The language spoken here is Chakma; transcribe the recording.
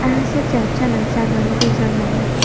aa se charch sanot jadon dijon manus.